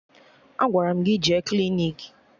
Agwara m gị jee klinik!